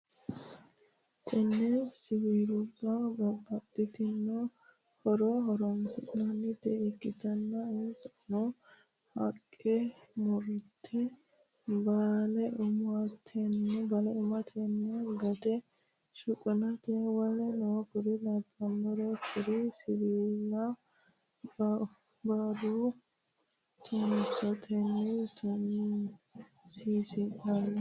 tini siwiluba babatitino hororo horonisinanita iktana insano; haqqe murate, balle umatenna gate shuqunate woleno kuri labanoreti Kuri siwiluba bauro tunitote tunisisinanni